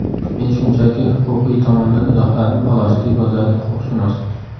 Men shunchaki huquqiy tomondan izohladim xolos, deb yozadi huquqshunos.